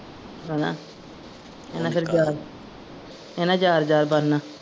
ਹੈਨਾ ਇਹਨਾਂ ਫਿਰ ਯਾਰ ਇਹਨਾਂ ਯਾਰ ਯਾਰ ਬਣਨਾ।